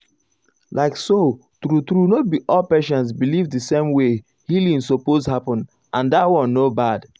like so true true no be all patients believe the same way healing suppose happen and dat one no bad.